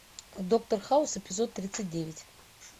доктор хаус эпизод тридцать девять